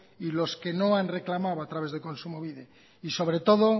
y los que no han reclamado a través de kontsumobide y sobre todo